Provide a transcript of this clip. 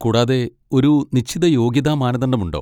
കൂടാതെ ഒരു നിശ്ചിത യോഗ്യതാ മാനദണ്ഡമുണ്ടോ?